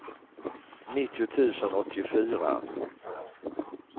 nittio tusen åttiofyra